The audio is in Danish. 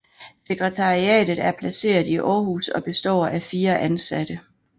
Sekretariatet er placeret i Aarhus og består af fire ansatte